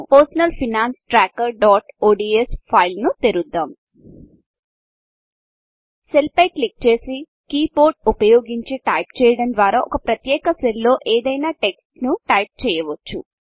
personal finance trackerodsపర్సనల్ finance tracker ODS ఫైల్ను తెరుద్దం సెల్ పై క్లిక్ చేసి కీబోర్డ్ ఉపయోగిచి టైప్ చేయడం ద్వారా ఒక ప్రత్యేక సెల్ లో ఏదైన టెక్స్ట్ టైప్ చేయవచ్చు